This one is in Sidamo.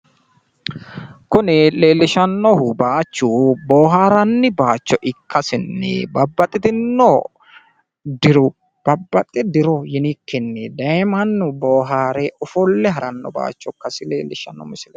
kuni leellishannohu bayiichu booharranni bayiicho ikkasinni babbaxxitinno diru babbaxxe diro yinikkini daye mannu bohaare ofolle haranno bayiicho ikkasi leellishshanno misileeti.